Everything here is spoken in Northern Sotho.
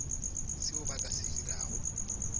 seo ba ka se dirago